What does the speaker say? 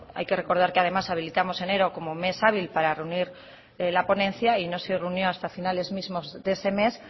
hay que recordar que además habilitamos enero como mes hábil para reunir la ponencia y no se reunió hasta finales mismos de ese mes